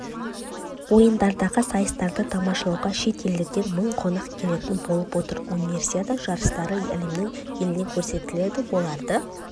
ойындардағы сайыстарды тамашалауға шет елдерден мың қонақ келетін болып отыр универсиада жарыстары әлемнің еліне көрсетіледі оларды